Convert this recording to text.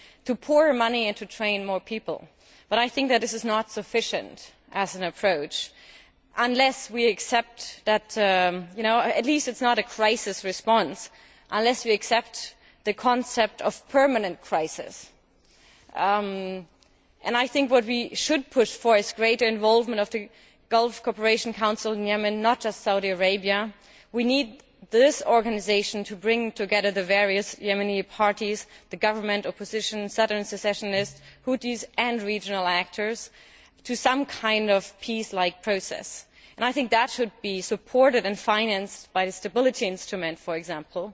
to pour money into training more people, but I think that this is not sufficient as an approach at least it is not a crisis response, unless we accept the concept of permanent crisis. I think we should push for greater involvement by the Gulf Cooperation Council in Yemen, not just Saudi Arabia. We need this organisation to bring together the various Yemeni parties, the government, the opposition, southern secessionists, Houthis and regional actors in some kind of peace like process, and I think that should be supported and financed by the Stability Instrument for example